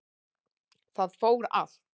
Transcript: Það fór allt